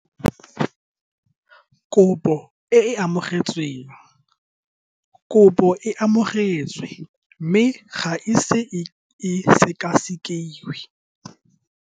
Application received. The application was received, but has not yet been processed.